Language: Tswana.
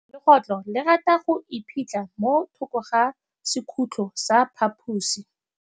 Legôtlô le rata go iphitlha mo thokô ga sekhutlo sa phaposi.